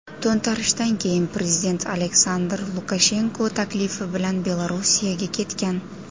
To‘ntarishdan keyin prezident Aleksandr Lukashenko taklifi bilan Belorussiyaga ketgan.